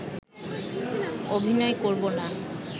অভিনয় করব না